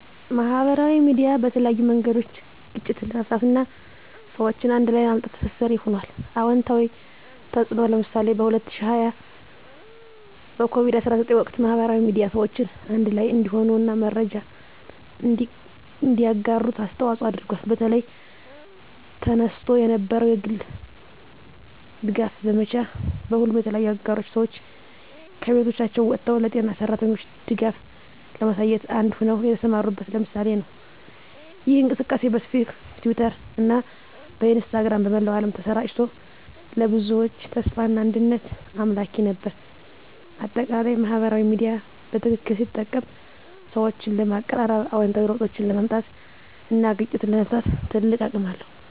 ማህበራዊ ሚዲያ በተለያዩ መንገዶች ግጭትን ለመፍታት እና ሰዎችን አንድ ላይ ለማምጣት ትስስር ሆኗል። #*አዎንታዊ ተፅዕኖ (ምሳሌ) በ2020 በኮቪድ-19 ወቅት፣ ማህበራዊ ሚዲያ ሰዎችን አንድ ላይ እንዲሆኑ እና መረጃን እንዲያጋሩ አስተዋፅዖ አድርጓል። በተለይ፣ ተነስቶ የነበረው የግልጽ ድጋፍ ዘመቻ፣ ሁሉም የተለያዩ አገሮች ሰዎች ከቤቶቻቸው ወጥተው ለጤና ሠራተኞች ድጋፍ ለማሳየት አንድ ሆነው የተሰማሩበት ምሳሌ ነው። ይህ እንቅስቃሴ በፌስቡክ፣ በትዊተር እና በኢንስታግራም በመላው ዓለም ተሰራጭቶ፣ ለብዙዎች ተስፋና አንድነት አምላኪ ነበር። በአጠቃላይ፣ ማህበራዊ ሚዲያ በትክክል ሲጠቀም ሰዎችን ለማቀራረብ፣ አዎንታዊ ለውጦችን ለማምጣት እና ግጭቶችን ለመፍታት ትልቅ አቅም አለው።